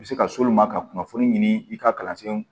U bɛ se ka s'olu ma ka kunnafoni ɲini i ka kalan sen